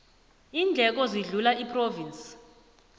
iindleko zihluka iphrovinsi